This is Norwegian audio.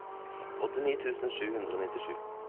åttini tusen sju hundre og nittisju